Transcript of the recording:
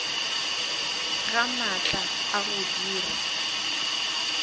ga maatla a go dira